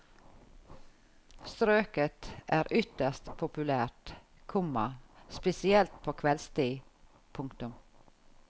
Strøket er ytterst populært, komma spesielt på kveldstid. punktum